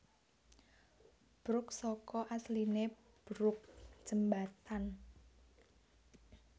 Bruk saka asline brooke jembatan